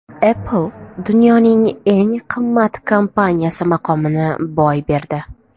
Apple dunyoning eng qimmat kompaniyasi maqomini boy berdi.